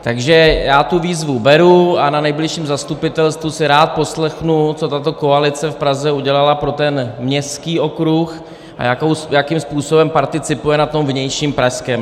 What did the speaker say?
Takže já tu výzvu beru a na nejbližším zastupitelstvu si rád poslechnu, co tato koalice v Praze udělala pro ten městský okruh a jakým způsobem participuje na tom vnějším pražském.